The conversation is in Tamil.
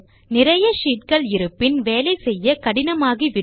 நிறைய ஷீட் கள் வேலை செய்ய கடினமாகிவிடும்